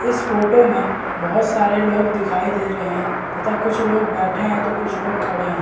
इस फोटो में बहुत सारे लोग दिखाई दे रहे है तथा कुछ बैठे हैं तो कुछ लोग खड़े है ।